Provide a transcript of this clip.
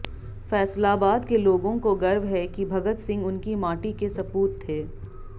फैसलाबाद के लोगों को गर्व है कि भगत सिंह उनकी माटी के सपूत थे